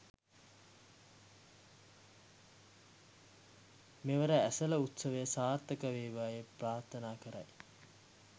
මෙවර ඇසළ උත්සවය සාර්ථක වේවායි ප්‍රාර්ථනා කරයි